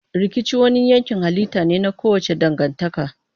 Rikici wani yankin halitta ne na kowace dangantaka.